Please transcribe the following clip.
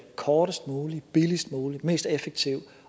kortest mulig billigst mulig mest effektiv